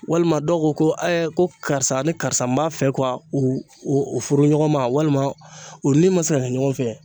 Walima dɔw ko ko ko karisa ni karisa n b'a fɛ u u u furu ɲɔgɔn ma walima u ni ma se ka kɛ ɲɔgɔn fɛ